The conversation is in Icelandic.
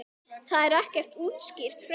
Það er ekki útskýrt frekar.